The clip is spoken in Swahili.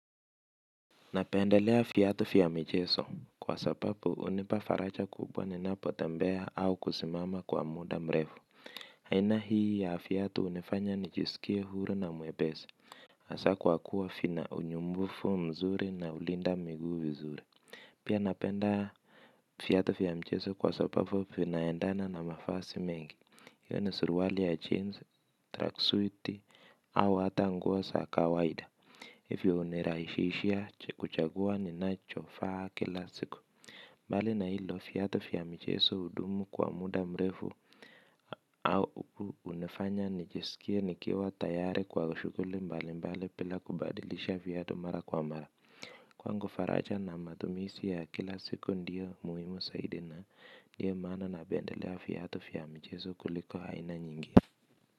Napendelea viatu vya michezo kwa sababu hunipa faraja kubwa ninapotembea au kusimama kwa muda mrefu. Haina hii ya viatu hunifanya nijisikie huru na mwepesi. Hasa kwa kuwa vina unyumbufu mzuri na hulinda miguu vizuri pia napenda viatu vya michezo kwa sababu vinaendana na mavazi mengi iwe ni suruali ya jeans, track suiti au ata nguo za kawaida. Hivyo hunirahisishia kuchagua ninachovaa kila siku. Mbali na hilo viatu vya michezo hudumu kwa muda mrefu. Au hunifanya nijisikie nikiwa tayari kwa shughuli mbali mbali bila kubadilisha viatu mara kwa mara. Kwangu faraja na matumizi ya kila siku ndiyo muhimu zaidi na ndiyo maana napendelea viatu vya michezo kuliko haina nyingi.